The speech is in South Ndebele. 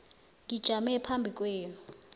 ngijame phambi kwenu